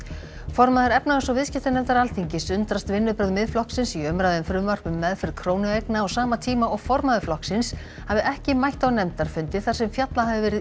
formaður efnahags og viðskiptanefndar Alþingis undrast vinnubrögð Miðflokksins í umræðu um frumvarp um meðferð krónueigna á sama tíma og formaður flokksins hafi ekki mætt á nefndarfundi þar sem fjallað hafi verið